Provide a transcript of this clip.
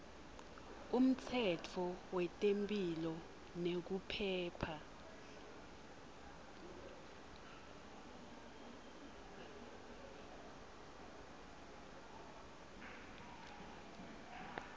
umtsetfo wetemphilo nekuphepha